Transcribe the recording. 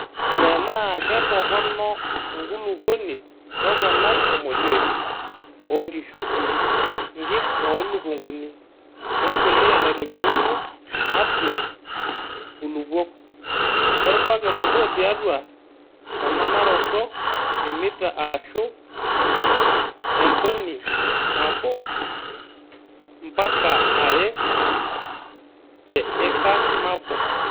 Tenaa keitorono enkulupuoni toponai emodiei oonkishu, nkik oo lukunguni, wempuliya naitobiruno atua nkulupuok ;orbaket obo tiatua emanaroto emita arashu entoni nabo mpaka are te ika nabo.